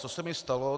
Co se mi stalo.